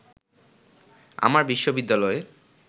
আমার বিশ্ববিদ্যালয়ে